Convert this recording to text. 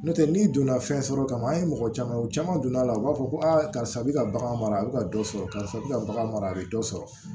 N'o tɛ n'i donna fɛn sɔrɔ kama an ye mɔgɔ caman u caman donna la u b'a fɔ ko karisa bɛ ka bagan mara a bɛ ka dɔ sɔrɔ karisa bɛ ka bagan mara a bɛ dɔ sɔrɔ